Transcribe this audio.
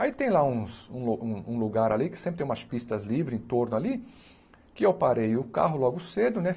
Aí tem lá uns um lu um lugar ali que sempre tem umas pistas livres em torno ali, que eu parei o carro logo cedo, né?